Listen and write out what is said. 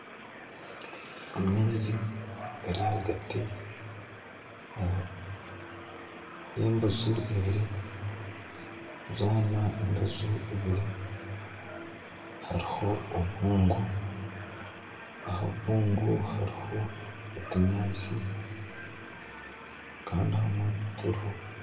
Amaizi gari ahagaati y'embaju ibiri, zoona embaju ibiri hariho obubungo, aha bubungo hariho otunyaatsi kandi ahandi tituriho